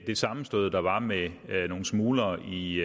det sammenstød der var med nogle smuglere i